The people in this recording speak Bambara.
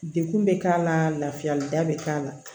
Dekun bɛ k'a la lafiyali da bɛ k'a la